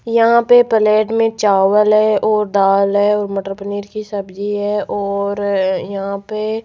यहां पे पलेट में चावल है और दाल है और मटर पनीर की सब्जी है और यहां पे --